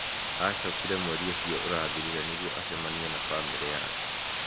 Acookire mweri ũcio ũrathirire nĩguo acemania na famĩlĩ yake.